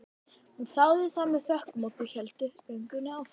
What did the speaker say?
Hún þáði það með þökkum og þau héldu göngunni áfram.